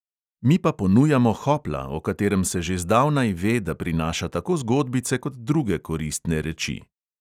Mi pa ponujamo hopla, o katerem se že zdavnaj ve, da prinaša tako zgodbice kot druge koristne reči.